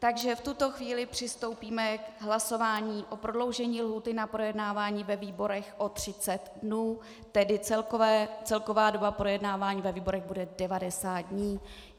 Takže v tuto chvíli přistoupíme k hlasování o prodloužení lhůty na projednávání ve výborech o 30 dnů, tedy celková doba projednávání ve výborech bude 90 dnů.